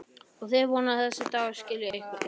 Og þú vonar að þessi dagur skili einhverju?